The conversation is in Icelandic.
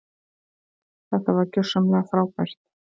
Þetta var gjörsamlega frábært.